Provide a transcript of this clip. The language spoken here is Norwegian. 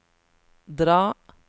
dra